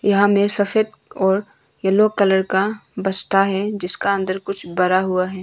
यहाँ पर सफेद और यलो कलर का बस्ता है जिसके अन्दर कुछ भरा हुआ है।